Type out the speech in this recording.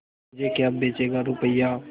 मुझे क्या बेचेगा रुपय्या